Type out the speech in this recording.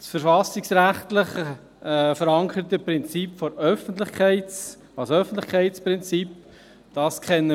Eigentlich kennen wir das verfassungsrechtlich verankerte Öffentlichkeitsprinzip ja auch.